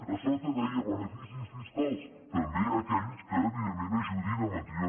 a sota hi deia beneficis fiscals també a aquells que evidentment ajudin a mantenir